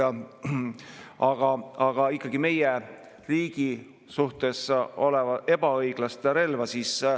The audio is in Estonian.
Aga ju ikkagi meie riigi suhtes ebaõiglase relvaga.